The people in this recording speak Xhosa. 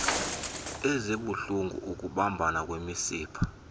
ezibuhlulngu ukubambana kwemisipha